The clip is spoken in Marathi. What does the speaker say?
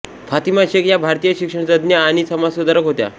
फातिमा शेख या भारतीय शिक्षणतज्ज्ञ आणि समाजसुधारक होत्या